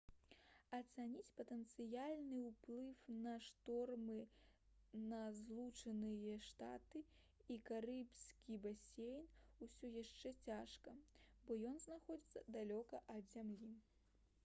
ацаніць патэнцыяльны ўплыў на шторму на злучаныя штаты і карыбскі басейн усё яшчэ цяжка бо ён знаходзіцца далёка ад зямлі